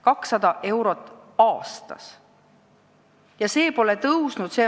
200 eurot aastas!